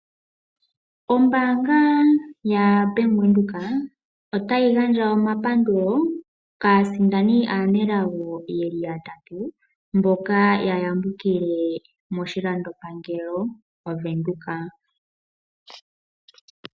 Ombaanga ya Bank Windhoek otayi gandja omapandulo kaasindani aanelago yeli ya tatu. Mboka ya yambukile moshilando pangelo mo Venduka.